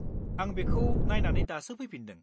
आं बेखौ नायनानै दासो फैफिनदों।